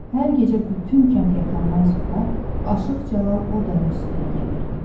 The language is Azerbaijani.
Hər gecə bütün kənd yatandan sonra Aşıq Cəlal o dərə üstünə gəlirdi.